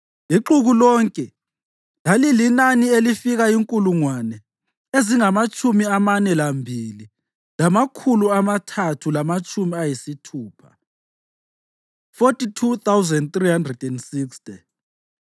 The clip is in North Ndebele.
Ixuku lonke lalilinani elifika inkulungwane ezingamatshumi amane lambili lamakhulu amathathu lamatshumi ayisithupha (42,360),